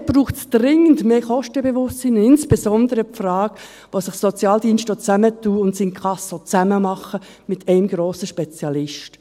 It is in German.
Dort braucht es dringend mehr Kostenbewusstsein, und insbesondere die Frage, wo sich Sozialdienste auch zusammentun und das Inkasso zusammen machen, mit einem grossen Spezialisten.